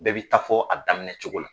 Bɛɛ b'i ta fɔ a daminɛ cogo la.